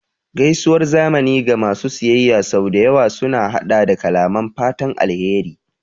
Gaisuwar zamani ga masu siyayya sau da yawa sun haɗa da kalaman fatan alheri